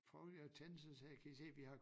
Prøvede jeg at tænde så sagde jeg kan i se vi har